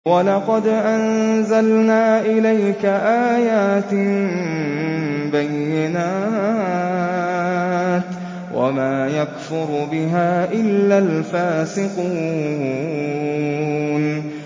وَلَقَدْ أَنزَلْنَا إِلَيْكَ آيَاتٍ بَيِّنَاتٍ ۖ وَمَا يَكْفُرُ بِهَا إِلَّا الْفَاسِقُونَ